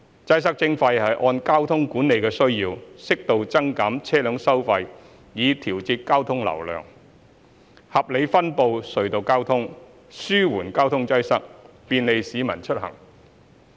"擠塞徵費"是按交通管理的需要，適度增減車輛收費以調節交通流量，合理分布隧道交通，紓緩交通擠塞，便利市民出行。